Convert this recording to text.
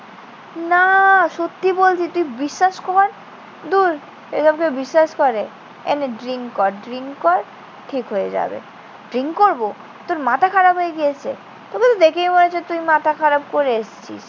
না. সত্যি বলছি। তুই বিশ্বাস কর। ধূর, এসব কেউ বিশ্বাস করে? এই নে drink কর। drink কর। ঠিক হয়ে যাবে। drink করবো? তোর মাথা খারাপ হয়ে গিয়েছে? তোকে তো দেখেই বোঝা যাচ্ছে তুই মাথা খারাপ করে এসছিস।